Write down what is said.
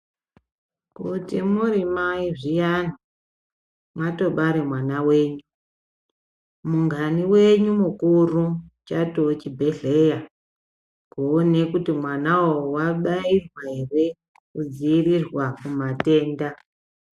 Kuti muri mai zviyani mwatobara mwana wenyu mungani wenyu mukuru chatove chibhedhleya kuone kuti mwanawo wabairwa here kudzivirirwa kumatenda.